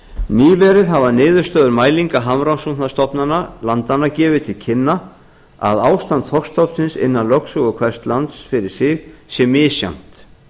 nýverið hafa niðurstöður mælingar hafrannsóknastofnana landanna gefið til kynna að ástand þorskstofnsins innan lögsögu hvers lands fyrir sig sé misjafnt